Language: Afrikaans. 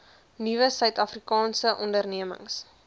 nuwe suidafrikaanse ondernemings